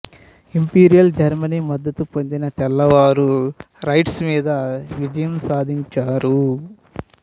imperial Germany మద్దతు పొందిన తెల్లవారు రెడ్స్ మీద విజయం సాధించారు